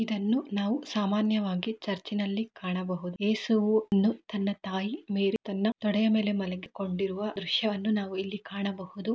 ಇದನ್ನು ನಾವು ಸಾಮಾನ್ಯವಾಗಿ ಚರ್ಚಿನಲ್ಲಿ ಕಾಣಬಹುದು. ಯೇಸುವನ್ನು ತನ್ನ ತಾಯಿ ಮೇರಿ ತನ್ನ ತೊಡೆಯ ಮೇಲೆ ಮಲಗಿಕೊಂಡುಯಿರುವ ದೃಶ್ಯವನ್ನು ನಾವು ಇಲ್ಲಿ ಕಾಣಬಹುದು.